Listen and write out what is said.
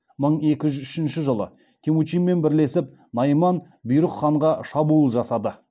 мың екі жүз үшінші жылы темучинмен бірлесіп найман бұйрық ханға шабуыл жасады